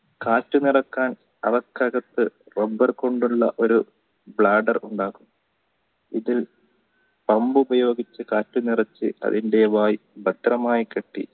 കാറ്റു നിറക്കാൻ അവർക്കകത്തു rubbur കൊണ്ടുള്ള ഒരു blander ഉണ്ടാകും പമ്പ് ഉപയോഗിച്ച് കാറ്റ് നിറച്ചു അതിന്ടെ വായി പരിചയമായി ഭദ്രമായി കെട്ടി